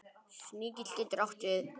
Sníkill getur átt við